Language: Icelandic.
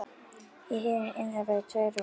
Í hinu innra voru tvö rúm.